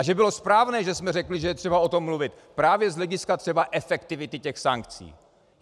A že bylo správné, že jsme řekli, že je třeba o tom mluvit právě z hlediska třeba efektivity těch sankcí.